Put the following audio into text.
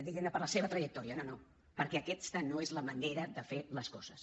diguem ne per la seva trajectòria no no perquè aquesta no és la manera de fer les coses